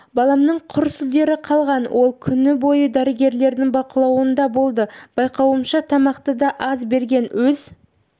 баламның құр сүлдері қалған ол күн бойы дәрігерлердің бақылауында болды байқауымша тамақты да аз берген өз